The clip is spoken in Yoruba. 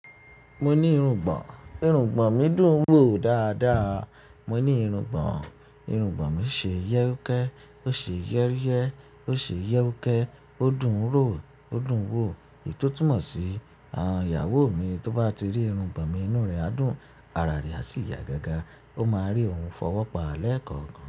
Mo ni irungbọ̀n, irungbọ̀n mi dùn ún wò dáadáa. Mo ni irungbọ̀n, irungbọ̀n mi ṣe iyẹ́rúkẹ́, ó ṣe iyẹ́rúyẹ́, ó ṣe iyẹ́rúkẹ́, ó dùn ún rò, ó dùn ún wò. Èyí tó túmọ̀ sí, àwọn ìyàwó mi tó bá ti rí irungbọ̀n mi inú rẹ̀ á dùn, ara rẹ̀ a sì yá gágá, ó máa rí ouun fọwọ́pa lẹ́ẹ̀kọ̀ọ̀kan.